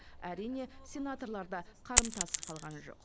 әрине сенаторлар да қарымтасыз қалғаны жоқ